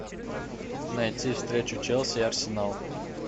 найти встречу челси и арсенал